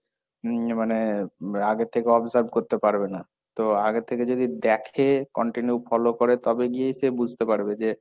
উম, মানে আগে থেকে observe করতে পারবে না, তো আগে থেকে যদি দেখে continue follow করে তবে গিয়ে সে বুঝতে পারবে যে,